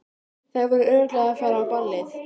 Þær voru örugglega að fara á ballið.